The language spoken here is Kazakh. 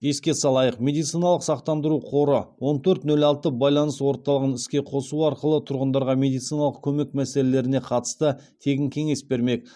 еске салайық медициналық сақтандыру қоры он төрт нөл алты байланыс орталығын іске қосу арқылы тұрғындарға медициналық көмек мәселелеріне қатысты тегін кеңес бермек